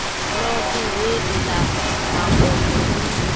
ḽoṱhe heḽi ḽa makonde ḽi